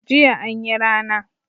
Jiya anyi rana